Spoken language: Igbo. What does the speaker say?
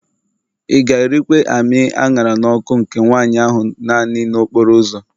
Ị ga-erikwa amị a ṅara n'ọkụ nke nwanyị ahụ naanị n'okporo ụzọ